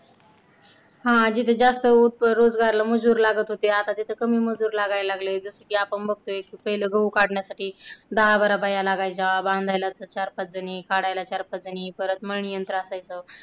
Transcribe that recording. हा जिथे जास्त रोजगारला मजूर लागत होते तिथे आता कमी मजूर लागायला लागले. जसं की आपण बघतोय पहिल गहू काढण्यासाठी दहा-बारा बाया लागायच्या बांधायला चार-पाच जणी, काढायला चार-पाच जणी परत मणी यंत्र असायचं.